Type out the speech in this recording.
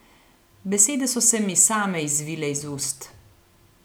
Besede so se mi same izvile iz ust.